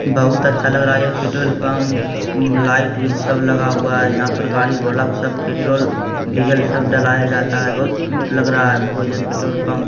बहुत अच्छा लग रहा है ये पेट्रोल पंप उम् लाइट उइट सब लगा हुआ है | यहाँ पर गाड़ी ढोलक सब पेट्रोल डीजल सब डलाया जाता है | बहुत क्यूट लग रहा है हमको ये पेट्रोल पंप ।